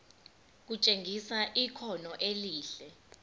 kutshengisa ikhono elihle